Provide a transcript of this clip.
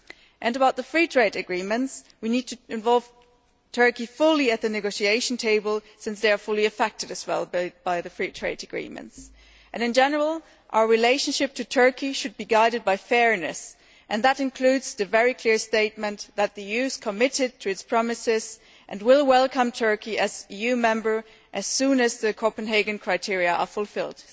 As for the free trade agreements, we need to involve Turkey fully at the negotiating table since it, too, is very much affected by the free trade agreements. In general, our relationship with Turkey should be guided by fairness, and that includes the very clear statement that the EU is committed to its promises and will welcome Turkey as an EU member as soon as the Copenhagen criteria are fulfilled.